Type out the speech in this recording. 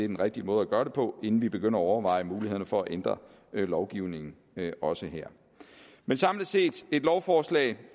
den rigtige måde at gøre det på inden vi begynder at overveje mulighederne for at ændre lovgivningen også her men samlet set er et lovforslag